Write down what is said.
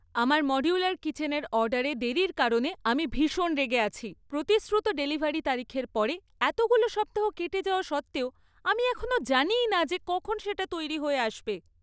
আমার মডিউলার কিচেনের অর্ডারে দেরির কারণে আমি ভীষণ রেগে আছি! প্রতিশ্রুত ডেলিভারি তারিখের পরে এতগুলো সপ্তাহ কেটে যাওয়া সত্ত্বেও আমি এখনও জানিই না যে কখন সেটা তৈরি হয়ে আসবে।